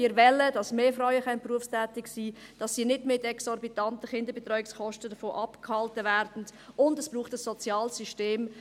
Wir wollen, dass mehr Frauen berufstätig sein können, und dass sie nicht mit exorbitanten Kinderbetreuungskosten davon abgehalten werden, und es braucht ein soziales System.